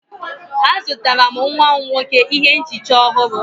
Azụtara m nwa m nwoke ihe nchicha ọhụrụ.